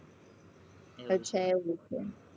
અચ્છા એવું છે.